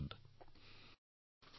ধন্যবাদ ভাই